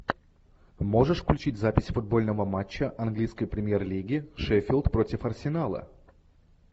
можешь включить запись футбольного матча английской премьер лиги шеффилд против арсенала